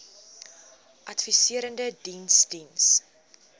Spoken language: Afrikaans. adviserende diens diens